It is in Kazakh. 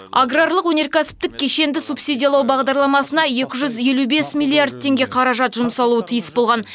аграрлық өнеркәсіптік кешенді субсидиялау бағдарламасына екі жүз елу бес миллиард теңге қаражат жұмсалуы тиіс болған